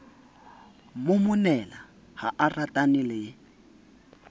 momonela ha a ratana le